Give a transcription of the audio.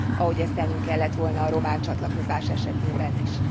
Ahogy ezt tennünk kellett volna a román csatlakozás esetében is.